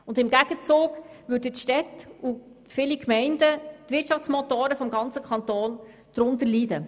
Und im Gegenzug würden die Städte und viele Gemeinden, die Wirtschaftsmotoren im Kanton, darunter leiden.